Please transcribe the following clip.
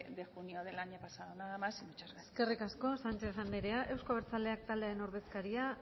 de junio del año pasado nada más y muchas gracias eskerrik asko sánchez andrea euzko abertzaleak taldearen ordezkaria